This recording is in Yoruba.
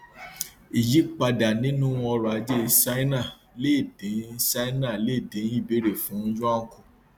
ìyípadà nínú ọrọ ajé ṣáínà lè dín ṣáínà lè dín ìbéèrè fún yuan kùn